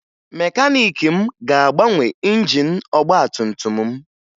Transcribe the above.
Mekaniiki m ga-agbanwe injin ọgbatumtum m